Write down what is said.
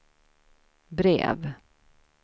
brev